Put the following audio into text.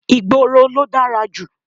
Ìgboro ló dára jù.